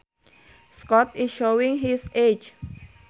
Scott is showing his age